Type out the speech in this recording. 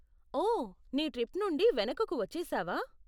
ఓ, నీ ట్రిప్ నుండి వెనుకకు వచ్చేసావా?